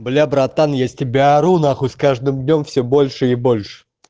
бля братан я с тебя ору на хуй с каждым днём все больше и больше